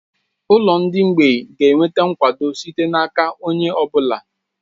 Ụlọ ndị mgbịị ga-enweta nkwado site n'aka onye ọ bụla